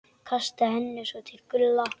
Kastaði henni svo til Gulla.